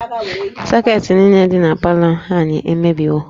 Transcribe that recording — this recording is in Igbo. Sọketị niile dị na palọ anyị emebiwo